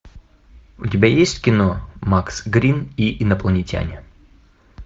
у тебя есть кино макс грин и инопланетяне